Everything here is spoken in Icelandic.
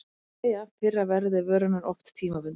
Þá hefur verið slegið af fyrra verði vörunnar, oft tímabundið.